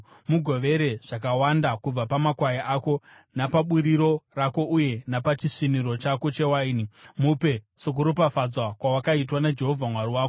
Mugovere zvakawanda kubva pamakwai ako, napaburiro rako uye napachisviniro chako chewaini. Mupe sokuropafadzwa kwawakaitwa naJehovha Mwari wako.